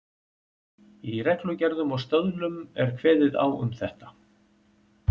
Í reglugerðum og stöðlum er kveðið á um þetta.